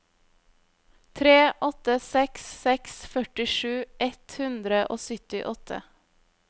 tre åtte seks seks førtisju ett hundre og syttiåtte